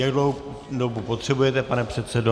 Jak dlouhou dobu potřebujete, pane předsedo?